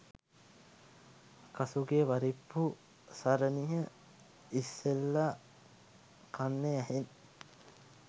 කසූ ගේ පරිප්පු සරණිය ඉස්සෙල්ල කන්නෙ ඇහෙන්